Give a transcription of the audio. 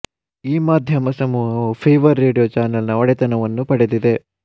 ಈ ಮಾಧ್ಯಮ ಸಮೂಹವು ಫೀವರ್ ರೇಡಿಯೋ ಚಾನಲ್ ನ ಒಡೆತನವನ್ನೂ ಪಡೆದಿದೆ